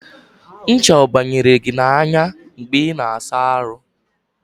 ncha ọ banyere gị n'anya mgbe ị na-asa ahụ?